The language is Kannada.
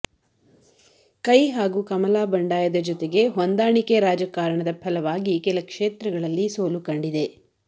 ಕೈ ಹಾಗು ಕಮಲ ಬಂಡಾಯದ ಜೊತೆಗೆ ಹೊಂದಾಣಿಕೆ ರಾಜಕಾರಣದ ಫಲವಾಗಿ ಕೆಲ ಕ್ಷೇತ್ರಗಳಲ್ಲಿ ಸೋಲು ಕಂಡಿದೆ